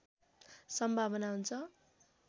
सम्भावना हुन्छ